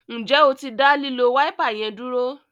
Njé o tí da lilo Wáípà yén dúró?